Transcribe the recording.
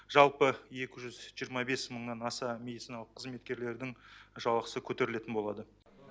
жалпы екі жүз жиырма бес мыңнан аса медициналық қызметкерлердің жалақысы көтерілетін болады